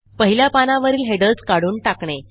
पहिल्या पानावरील हेडर्स काढून टाकणे